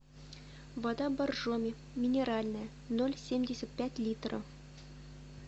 вода боржоми минеральная ноль семьдесят пять литра